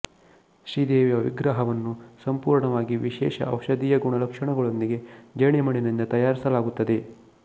ಶ್ರೀ ದೇವಿಯ ವಿಗ್ರಹವನ್ನು ಸಂಪೂರ್ಣವಾಗಿ ವಿಶೇಷ ಔಷಧೀಯ ಗುಣಲಕ್ಷಣಗಳೊಂದಿಗೆ ಜೇಡಿಮಣ್ಣಿನಿಂದ ತಯಾರಿಸಲಾಗುತ್ತದೆ